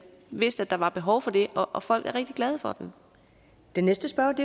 vidste at der var behov for det og folk er rigtig glade for den